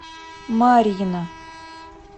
марьина